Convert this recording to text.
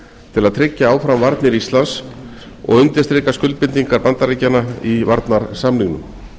til að tryggja áfram varnir landsins og undirstrika skuldbindingar bandaríkjanna í varnarsamningnum